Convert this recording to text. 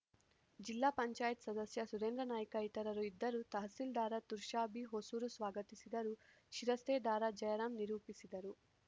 ಜಿಲ್ಲಾ ಪಂಚಾಯತ್ ಸದಸ್ಯ ಸುರೇಂದ್ರನಾಯ್ಕ ಇತರರು ಇದ್ದರು ತಹಸೀಲ್ದಾರ್‌ ತುಷಾರ್‌ ಬಿಹೊಸೂರು ಸ್ವಾಗತಿಸಿದರು ಶಿರಸ್ತೇದಾರ ಜಯರಾಮ್‌ ನಿರೂಪಿಸಿದರು